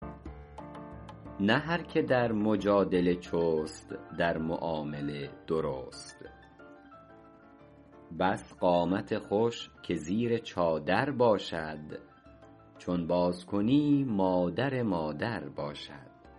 نه هر که در مجادله چست در معامله درست بس قامت خوش که زیر چادر باشد چون باز کنی مادر مادر باشد